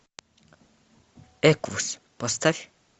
эквус поставь